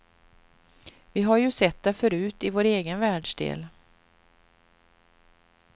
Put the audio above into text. Vi har ju sett det förut i vår egen världsdel.